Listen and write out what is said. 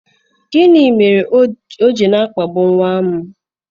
gini mere o ji na-akpagbu nwa m?